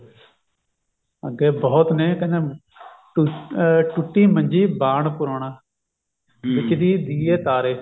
ਅੱਗੇ ਬਹੁਤ ਨੇ ਕਹਿੰਦੇ ਟੂ ਅਹ ਟੁੱਟੀ ਮੰਜੀ ਬਾਣ ਪੁਰਾਣਾ ਵਿੱਚ ਦੀ ਦਿਏ ਤਾਰੇ